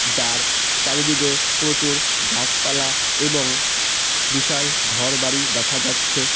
যার চারিদিকে প্রচুর গাছপালা এবং বিশাল ঘরবাড়ি দেখা যাচ্ছে এ--।